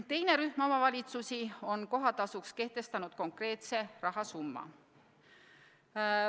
Teine rühm omavalitsusi on kohatasuks kehtestanud konkreetse rahasumma.